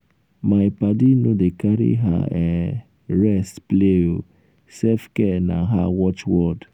my paddy no dey carry her um rest play um o self-care na her um watch word.